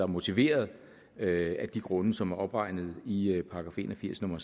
motiveret af de grunde som er opregnet i i § en og firs nummer